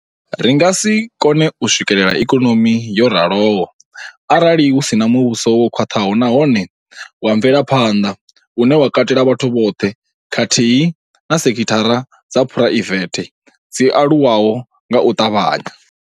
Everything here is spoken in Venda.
Ri nga si kone u swikela ikonomi yo raloho arali hu si na muvhuso wo khwaṱhaho nahone wa mvelaphanḓa une wa katela vhathu vhoṱhe khathihi na sekithara dza phuraivethe dzi aluwaho nga u ṱavhanya.